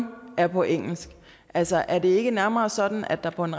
er på engelsk altså er det ikke nærmere sådan at der på en